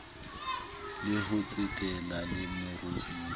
le ho tsetela le meruo